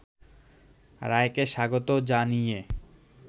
রায়কে স্বাগত জানিয়ে